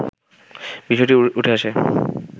বিষয়টি উঠে আসে